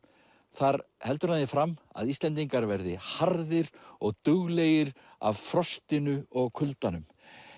þar heldur hann því fram að Íslendingar verði harðir og duglegir af frostinu og kuldanum